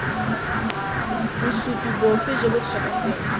bosupi bofe jo bo tshwanetseng